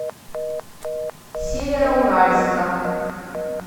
североуральска